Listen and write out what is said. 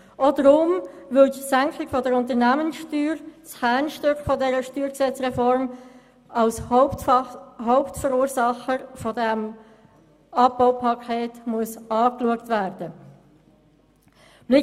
Auch darum, weil die Senkung der Unternehmenssteuer – das Kernstück dieser Reform – als Hauptverursacher dieses Abbaupakets angesehen werden muss.